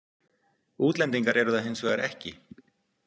Útlendingar eru það hins vegar ekki.